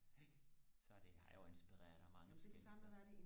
så det er jo inspireret af mange forskellige steder